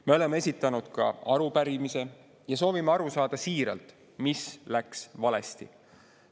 Me oleme esitanud ka arupärimise ja soovime siiralt aru saada, mis läks valesti.